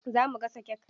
Za mu gasa kek.